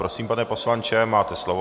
Prosím, pane poslanče, máte slovo.